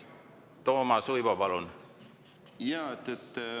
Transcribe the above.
Toomas Uibo, palun!